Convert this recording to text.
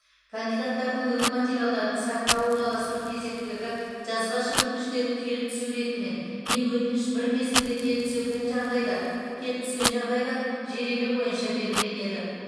кандидаттардың үгіт материалдарын сайтқа орналастыру кезектілігі жазбаша өтініштердің келіп түсу ретімен не өтініш бір мезгілде келіп түсекен жағдайда келіп түскен жағдайда жеребе бойынша белгіленеді